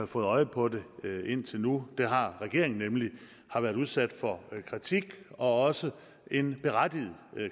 fået øje på det indtil nu det har regeringen nemlig har været udsat for kritik og også en berettiget